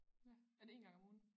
Ja er det én gang om ugen